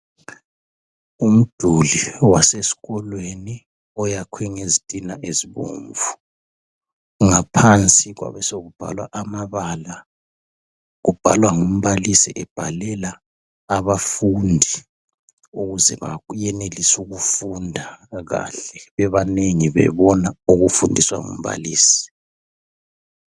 Umduli wasesikolweni oyakhwe ngezitina ezibomvu ngaphansi kwabe sekubhalwa amabala, kubhalwa ngumbalisi ebhalela abafundi ukuze bayenelise ukufunda kahle bebanengi bebona okufundiswa ngumbalisi.